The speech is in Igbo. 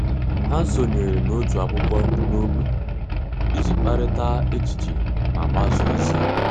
Há sònyèrè n’òtù ákwụ́kwọ́ n’ógbè iji kparịta echiche ma gbasáá ózị́ há.